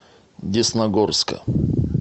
десногорска